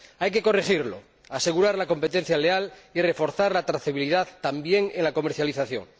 Hay que corregirlo, asegurar la competencia leal y reforzar la trazabilidad, también, en la comercialización.